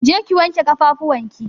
Je ki wanke ƙafafuwar ki!